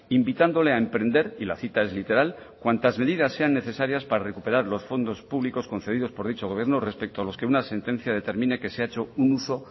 invitándole a emprender y la cita es literal cuantas medidas sean necesarias para recuperar los fondos públicos concedidos por dicho gobierno respecto a los que una sentencia determine que se ha hecho un uso